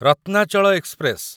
Ratnachal express